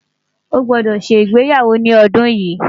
ọ gbódò ṣé ìgbéyàwó ní ọdún yi